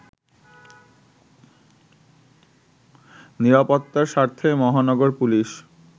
নিরাপত্তার স্বার্থে মহানগর পুলিশ